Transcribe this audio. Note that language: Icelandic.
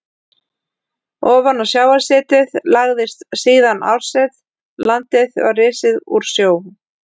Ofan á sjávarsetið lagðist síðan árset, landið var risið úr sjó.